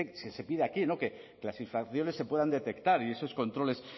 se pide aquí no que las infracciones se puedan detectar y esos controles